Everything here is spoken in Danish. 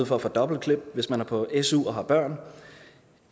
for at få et dobbelt klip hvis man er på su og har børn